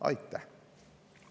Aitäh!